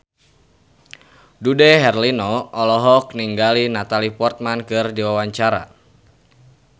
Dude Herlino olohok ningali Natalie Portman keur diwawancara